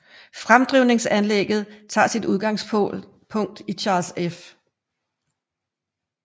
Fremdrivningsanlægget tager sit udgangspunkt i Charles F